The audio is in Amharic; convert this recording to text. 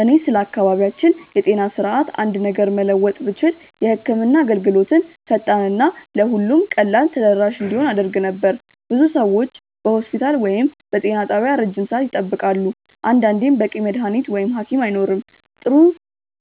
እኔ ስለ አካባቢያችን የጤና ስርዓት አንድ ነገር መለወጥ ብችል የህክምና አገልግሎትን ፈጣን እና ለሁሉም ቀላል ተደራሽ እንዲሆን አደርግ ነበር። ብዙ ሰዎች በሆስፒታል ወይም በጤና ጣቢያ ረጅም ሰዓት ይጠብቃሉ፣ አንዳንዴም በቂ መድሀኒት ወይም ሀኪም አይኖርም። ጥሩ